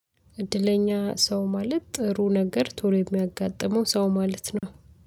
እድለኛ ሰው ማለት ጥሩ ነገር ቶሎ የሚያጋጥመው ሰው ማለት ነው።